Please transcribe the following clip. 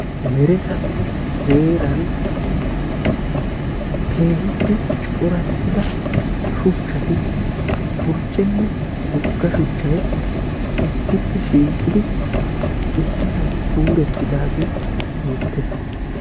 meretanne heeran keehippe corattida shuchati burccenne woga shuchay issippe shiiqidi issisan kuuretidaagee beetees.